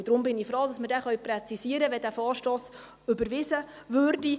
Deshalb bin ich froh, dass wir diesen präzisieren können, wenn dieser Vorstoss überwiesen wird.